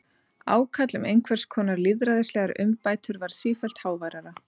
Ákall um einhvers konar lýðræðislegar umbætur varð sífellt háværara.